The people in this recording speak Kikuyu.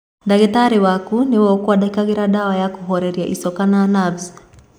Ndagĩtarĩ waku nĩwe ũngĩkwandĩkĩra dawa ya kũhoreria icoka na navu.